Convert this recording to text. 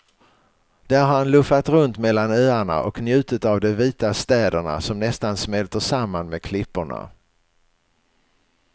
Där har han luffat runt mellan öarna och njutit av de vita städerna som nästan smälter samman med klipporna.